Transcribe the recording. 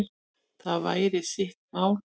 Það væri sitt mat.